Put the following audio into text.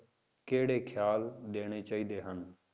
ਕਿਹੜੇ ਖਿਆਲ ਦੇਣੇ ਚਾਹੀਦੇ ਹਨ?